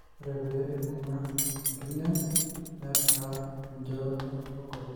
ore pee ibung'a inkirnyany neitaa eijoroto kegol